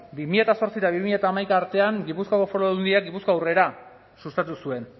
bi mila zortzi eta bi mila hamaika artean gipuzkoako foru aldundiak gipuzkoa aurrera sustatu zuen